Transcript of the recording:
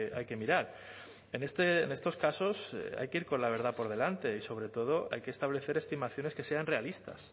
hay que mirar en estos casos hay que ir con la verdad por delante y sobre todo hay que establecer estimaciones que sean realistas